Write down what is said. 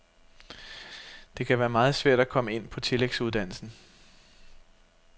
Det kan være meget svært at komme ind på tillægsuddannelsen.